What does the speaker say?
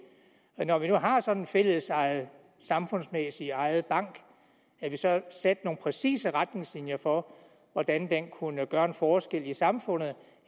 når vi nu har sådan en fællesejet samfundsmæssigt ejet bank at vi så satte nogle præcise retningslinjer for hvordan den kunne gøre en forskel i samfundet